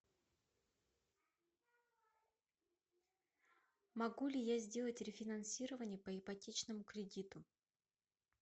могу ли я сделать рефинансирование по ипотечному кредиту